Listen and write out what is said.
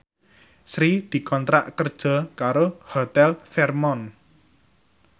Sri dikontrak kerja karo Hotel Fairmont